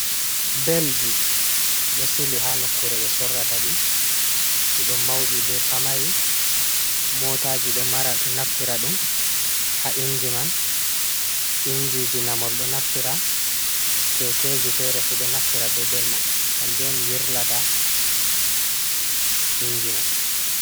Belji ɗo sili ha nokkure ɓe sorrata ɗi, ɗi ɗo mauɗi be pamari, motaji ɗo mara ɗo naftira ɗum ha inji man, injiji namol ɗo naftira kekeji fere fu ɗo naftira be bel man kanjon yirlata inji man.